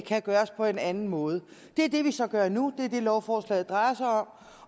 kan gøres på en anden måde det er det vi så gør nu og det er det lovforslaget drejer sig om